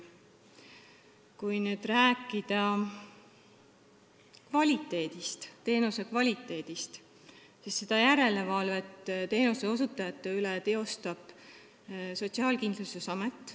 Kui rääkida teenuse kvaliteedist, siis seda järelevalvet teenuseosutajate üle teeb Sotsiaalkindlustusamet.